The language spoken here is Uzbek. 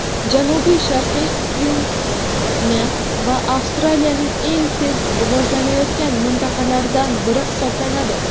Janubi-sharqiy Kvinslend esa Avstraliyaning eng tez rivojlanayotgan mintaqalaridan biri hisoblanadi.